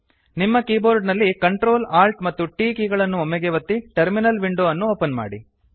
ನಿಮ್ಮ ಕೀಬೋರ್ಡ ನಲ್ಲಿCtrl Alt ಮತ್ತು T ಕೀ ಗಳನ್ನು ಒಮ್ಮೆಗೇ ಒತ್ತಿ ಟರ್ಮಿನಲ್ ವಿಂಡೊ ಅನ್ನು ಓಪನ್ ಮಾಡಿ